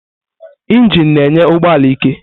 Injini na-enye ụgbọ ala ike.